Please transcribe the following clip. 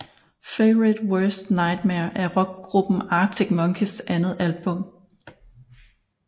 Favourite Worst Nightmare er rockgruppen Arctic Monkeys andet album